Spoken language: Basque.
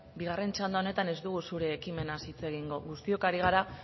bigarren txanda honetan ez dugu zure ekimenaz hitz egingo guztiok ari gara